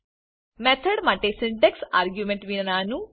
method માટે syntax argument વિનાનું